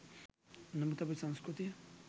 නමුත් අපේ සංස්කෘතිය